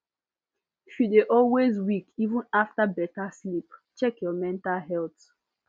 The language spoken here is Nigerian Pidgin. if you dey always weak even after better sleep check your mental health